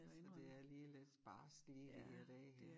Så det er lige lidt barskt lige de her dage her